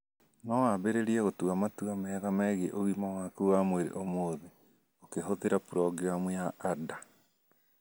No wambĩrĩrie gũtua matua mega megiĩ ũgima waku wa mwĩrĩ ũmũthĩ, ũkĩhũthĩra programu ya Ada.